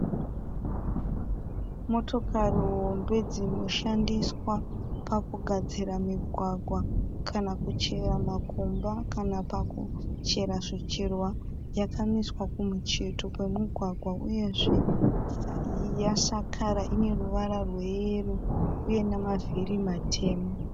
Motokari hombe dzinoshandiswa pakugadzira migwagwa, kana kuchera makomba kana pakuchera zvicherwa yakamiswa kumucheto wemugwagwa uyezve yasakara .Ine ruvara rweyero uye nemavhiri matema.